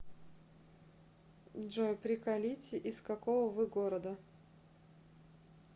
джой приколите из какого вы города